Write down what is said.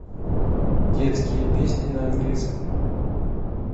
детские песни на английском